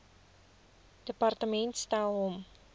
departement stel hom